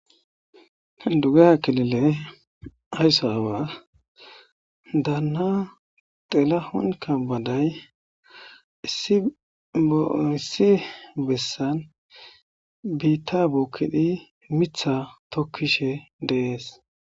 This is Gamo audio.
dugeha kelile ayssa awa daana delahonka baday issi boooissi bessan biitta bookkidhi mitha tokkishe deees